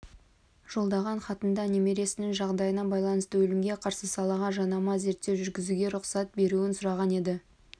жолдаған хатында немересінің жағдайына байланысты өлімге қарсы салаға жанама зерттеу жүргізуге рұқсат беруін сұраған еді